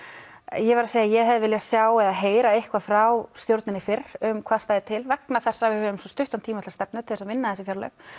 ég verð að segja að ég hefði viljað sjá eða heyra eitthvað frá stjórninni fyrr um hvað stæði til vegna þess að við höfum svo stuttan tíma til stefnu til að vinna þessi fjárlög